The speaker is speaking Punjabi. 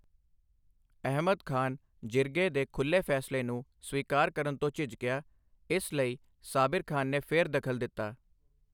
ਅਹਿਮਦ ਖਾਨ, ਜਿਰਗੇ ਦੇ ਖੁੱਲੇ ਫੈਸਲੇ ਨੂੰ ਸਵੀਕਾਰ ਕਰਨ ਤੋਂ ਝਿਜਕਿਆ, ਇਸ ਲਈ ਸਾਬਿਰ ਖਾਨ ਨੇ ਫਿਰ ਦਖਲ ਦਿੱਤਾ।